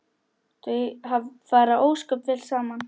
Þau fara ósköp vel saman